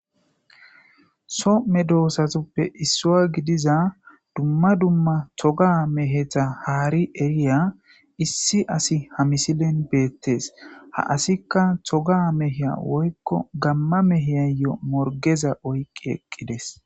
Somme doossatoppe issuwa gidiza dumma dumma thoga mehetha haari eriya issi asi ha misilen beettees ha asikka toga meheya woykko gamma meheyayo morgeza oyqqi eqqides.